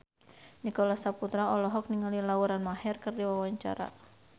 Nicholas Saputra olohok ningali Lauren Maher keur diwawancara